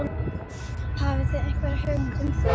Hafið þið einhverja hugmynd um það?